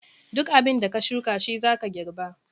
Duk abin da ka shuka shi zaka girba.